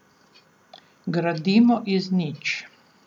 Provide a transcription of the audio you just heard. Gradimo iz nič.